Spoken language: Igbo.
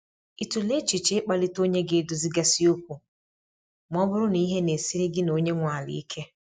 Ị tụla echiche i kpalite onye ga edozi ga si okwu ma ọ bụrụ na ihe na-esiri gị na onye nwe ala ike?